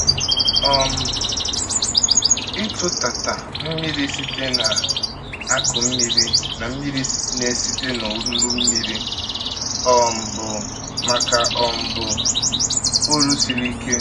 um Ịtụtata mmiri site n’akụ mmiri na mmiri na site n’olulu mmiri um bụ, ma ka um bụ, ọrụ siri ike.